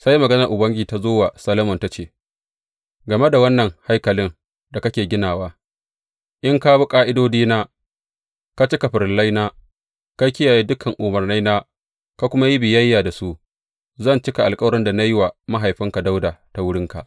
Sai maganar Ubangiji ta zo wa Solomon ta ce, Game da wannan haikalin da kake ginawa, in ka bi ƙa’idodina, ka cika farillaina, ka kiyaye dukan umarnaina, ka kuma yi biyayya da su, zan cika alkawarin da na yi wa mahaifinka Dawuda ta wurinka.